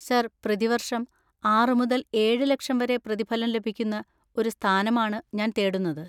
Sir, പ്രതിവർഷം ആറ് മുതൽ ഏഴ് ലക്ഷം വരെ പ്രതിഫലം ലഭിക്കുന്ന ഒരു സ്ഥാനമാണ് ഞാൻ തേടുന്നത്.